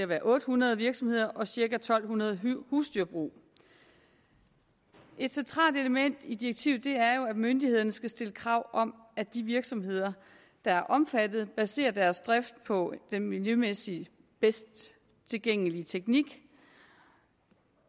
være otte hundrede virksomheder og cirka to hundrede husdyrbrug et centralt element i direktivet er jo at myndighederne skal stille krav om at de virksomheder der er omfattet baserer deres drift på den miljømæssigt bedste tilgængelige teknik